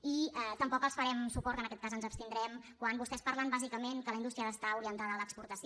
i tampoc els farem suport en aquest cas ens abstindrem quan vostès parlen bàsicament que la indústria ha d’estar orientada a l’exportació